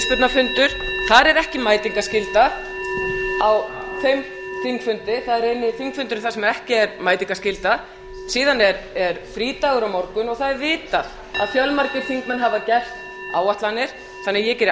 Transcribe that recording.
fyrirspurnafundur þar er ekki mætingarskylda á þeim þingfundi það er eini þingfundurinn þar sem ekki er mætingarskylda síðan er frídagur á morgun og það er vitað að fjölmargir þingmenn hafa gert áætlanir þannig að ég geri